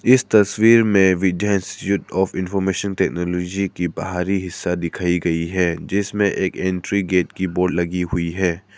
इस तस्वीर में भी Vidya institute of information technology की बाहरी हिस्सा दिखाई गई है जिसमें एक एंट्री गेट की बोर्ड लगी हुई है।